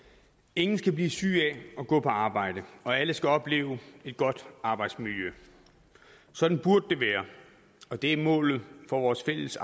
ingen skal blive syge af at gå på arbejde og alle skal opleve et godt arbejdsmiljø sådan burde det være og det er målet for vores fælles